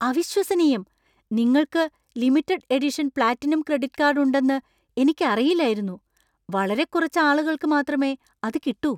അവിശ്വസനീയം! നിങ്ങൾക്ക് limited edition platinum credit card ഉണ്ടെന്ന് എനിക്കറിയില്ലായിരുന്നു. വളരെ കുറച്ച് ആളുകൾക്ക് മാത്രമേ അത് കിട്ടൂ.